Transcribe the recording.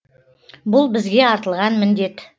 бұл бізге артылған міндет